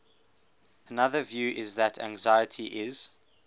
another view is that anxiety is